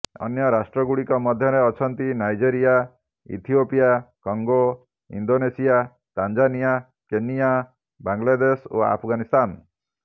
ଅନ୍ୟ ରାଷ୍ଟ୍ରଗୁଡିକ ମଧ୍ୟରେ ଅଛନ୍ତି Nigeria Ethiopia Congo Indonesia Tanzania Kenya Bangladesh ଓ ଆଫଗାନସ୍ତାନ